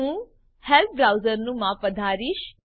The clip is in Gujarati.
હું હેલ્પ બ્રાઉઝરનું માપ વધારીશ